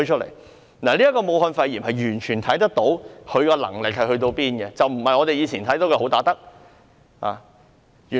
從武漢肺炎一事上，完全可見她有多大能力，並不是我們以前知道的"好打得"。